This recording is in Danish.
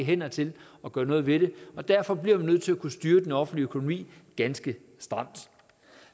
hænder til at gøre noget ved det og derfor bliver man nødt til at kunne styre den offentlige økonomi ganske stramt